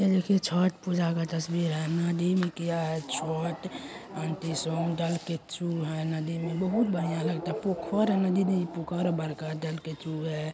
यह देखिये छठ पूजा का तस्वीर है नदी में किया है छठ जों आंटी सब दू के थ्रू है नदी में बहुत बड़िया लागत हे पौखर है नदी नहीं बड़का जन के टूर है।